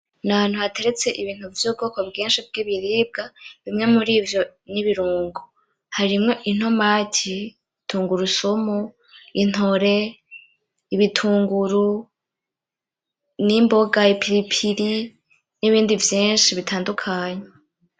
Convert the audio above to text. Ni ahantu hateretse ibintu vyo mubwoko bwinshi bw'ibiribwa. Bimwe murivyo ni ibirungo. Harimwo intomati, tungurusumu, intore, ibitunguru, n'imboga, ipiripiri, n'ibindi vyinshi bitandukanye.